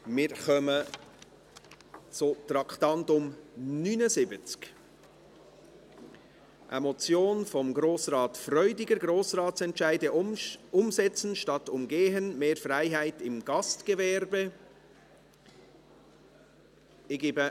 Wir kommen zum Traktandum 79, eine Motion von Grossrat Freudiger, «Grossratsentscheide umsetzen statt umgehen – mehr Freiheit im Gastgewerbe».